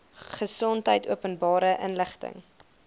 gesondheid openbare inligting